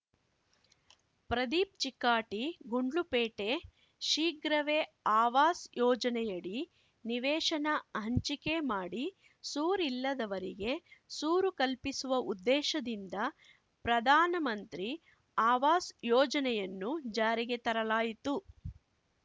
ಪ್ರದೀಪ್‌ ಚಿಕ್ಕಾಟಿ ಗುಂಡ್ಲುಪೇಟೆ ಶೀಘ್ರವೇ ಆವಾಸ್‌ ಯೋಜನೆಯಡಿ ನಿವೇಶನ ಹಂಚಿಕೆ ಮಾಡಿ ಸೂರಿಲ್ಲದವರಿಗೆ ಸೂರು ಕಲ್ಪಿಸುವ ಉದ್ದೇಶದಿಂದ ಪ್ರಧಾನಮಂತ್ರಿ ಆವಾಸ್‌ ಯೋಜನೆಯನ್ನು ಜಾರಿಗೆ ತರಲಾಯಿತು